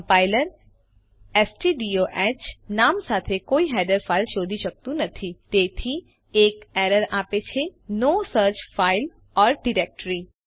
compiler સ્ટડિયોહ નામ સાથે કોઈ હેડર ફાઈલ શોધી શકતું નથી તેથી તે એક એરર આપે છે no such file or directory